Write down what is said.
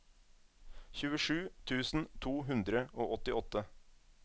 tjuesju tusen to hundre og åttiåtte